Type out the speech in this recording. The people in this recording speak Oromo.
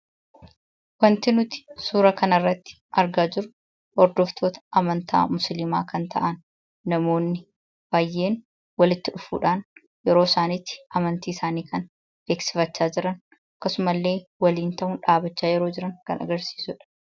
Wanti nuti suuraa kanarratti argaa jirru hordoftoota amantaa musliimaa kan ta'an namoonni baay'een kan walitti dhufuudhaan yeroosaaniitti amantiisaan kan beeksifachaa jiran akkasumallee waliin ta'uun dhaabbachaa jiran kan agarsiisudha.